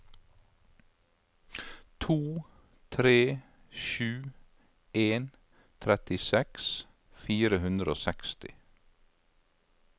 to tre sju en trettiseks fire hundre og seksti